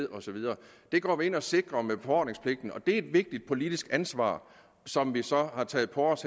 og så videre det går vi ind og sikrer med befordringspligten og det er et vigtigt politisk ansvar som vi har taget på os